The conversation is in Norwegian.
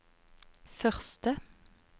første